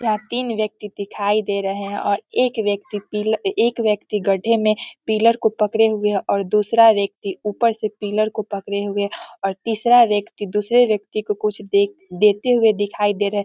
यहाँ तीन व्यक्ति दिखाई दे रहे हैं और एक व्यक्ति पिल एक व्यक्ति गड्डे में पिलर को पकड़े हुए हैं और दूसरा व्यक्ति ऊपर से पिलर को पकड़े हुए हैं और तीसरा व्यक्ति दूसरे व्यक्ति को कुछ दे देते हुए दिखाई दे रहे हैं।